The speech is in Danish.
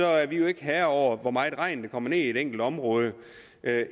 er vi ikke herre over hvor meget regn der kommer i et enkelt område